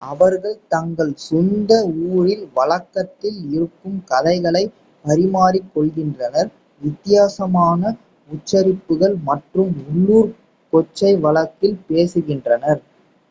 அவர்கள் தங்கள் சொந்த ஊரில் வழக்கத்தில் இருக்கும் கதைகளை பரிமாறிக்கொள்கின்றனர் வித்தியாசமான உச்சரிப்புகள் மற்றும் உள்ளூர் கொச்சை வழக்கில் பேசுகின்றனர்